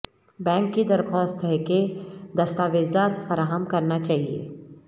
bank کی درخواست ہے کہ دستاویزات فراہم کرنا چاہیے